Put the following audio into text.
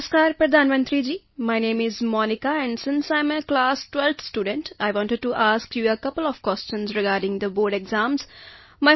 ਨਮਸਕਾਰ ਪ੍ਰਧਾਨ ਮੰਤਰੀ ji my name is Monika and since I am a class 12th student I wanted to ask you a couple of questions regarding the board exams